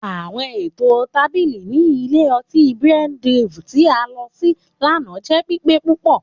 Àwọn eto tábìlì ni ilé ọti Brew Haven ti a lọ si lana jẹ pipe púpọ.